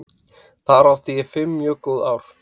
Þar átti ég fimm mjög góð ár.